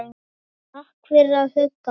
Takk fyrir að hugga mig.